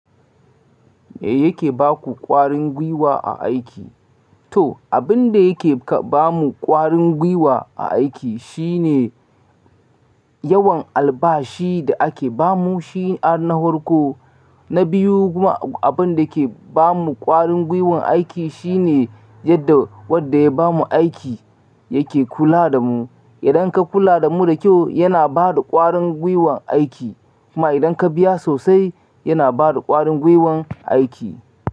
Me yake baku ƙwarin gwiwa a aiki? To, abin da yake ba mu ƙwarin gwiwa a aiki shine yawan albashi da ake ba mu shi ar nahorko. Na biyu kuma abin da yake ba mu ƙwarin gwiwan aiki shine yadda wanda ya ba mu aiki yake kula da mu. Idan ka kula da mu da kyau, yana ba da ƙwarin gwiwan aiki. Kuma idan ka biya sosai, yana ba da ƙwarin gwiwan aiki.